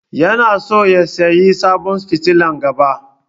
Yana so ya sayi sabon fitilan gaba.